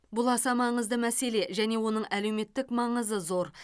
бұл аса маңызды мәселе және оның әлеуметтік маңызы зор